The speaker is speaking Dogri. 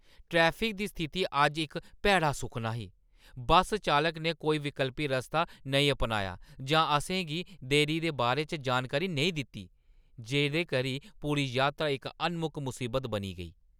ट्रैफिक दी स्थिति अज्ज इक भैड़ा सुखना ही। बस चालक ने कोई विकल्पी रस्ता नेईं अपनाया जां असें गी देरी दे बारे च जानकारी नेईं दित्ती, जेह्‌दे करी पूरी यात्रा इक अनमुक्क मुसीबत बनी गेई!